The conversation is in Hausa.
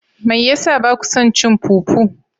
Mai yasa bakya son cin fufu?